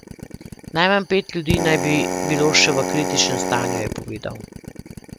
Najmanj pet ljudi naj bi bilo še v kritičnem stanju, je povedal.